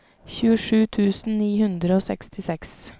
tjuesju tusen ni hundre og sekstiseks